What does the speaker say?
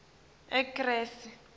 ekresi